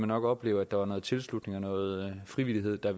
nok opleve at der var noget tilslutning og noget frivillighed der